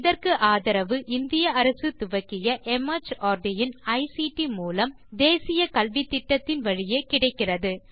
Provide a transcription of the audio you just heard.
இதற்கு ஆதரவு இந்திய அரசு துவக்கிய மார்ட் இன் ஐசிடி மூலம் தேசிய கல்வித்திட்டத்தின் வழியே கிடைக்கிறது